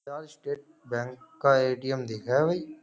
क्या State Bank का ATM दिख रहा है भाई।